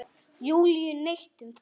Júlíu neitt um það.